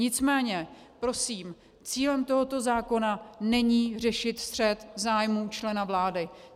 Nicméně prosím, cílem tohoto zákona není řešit střet zájmů člena vlády.